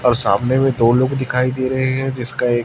और सामने में दो लोग दिखाई दे रहे हैं जिसका एक--